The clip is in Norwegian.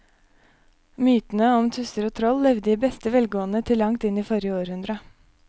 Mytene om tusser og troll levde i beste velgående til langt inn i forrige århundre.